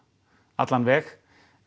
allan veg